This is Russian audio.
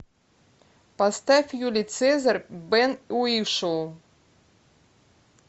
поставь юлий цезарь бен уишоу